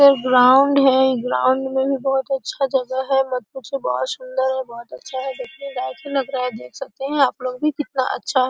इधर ग्राउंड है ग्राउंड में भी बहुत अच्छा जगह है मत पूछिए बहोत सुंदर और बहोत अच्छा है देखिये देख सकते हैं आप लोग भी कितना अच्छा --